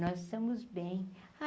Nós estamos bem.